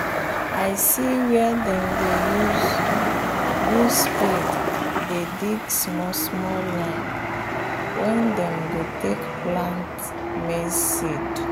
i see where dem dey use use spade dey dig small small line wen them go take plant maize seed